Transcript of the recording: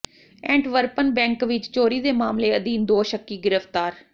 ਐਂਟਵਰਪਨ bank ਵਿਚ ਚੋਰੀ ਦੇ ਮਾਮਲੇ ਅਧੀਨ ਦੋ ਸ਼ੱਕੀ ਗ੍ਰਿਫਤਾਰ